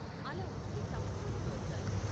అలా వస్తే తప్పు చోటుకి వచ్చాను.